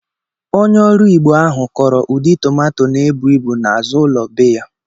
Onye oru Igbo ahu Koro udi tomanto n'ebu ibu n'azulo be ya